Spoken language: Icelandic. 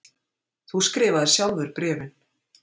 Þú skrifaðir sjálfur bréfin.